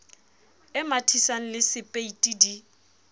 e mathisang le sepeiti di